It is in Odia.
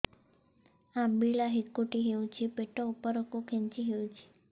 ଅମ୍ବିଳା ହେକୁଟୀ ହେଉଛି ପେଟ ଉପରକୁ ଖେଞ୍ଚି ହଉଚି